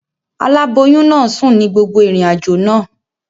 Aláboyún náà sùn ní gbogbo ìrìnàjò náà.